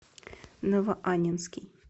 новоаннинский